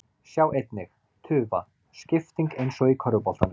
Sjá einnig: Tufa: Skipting eins og í körfuboltanum